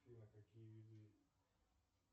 афина какие виды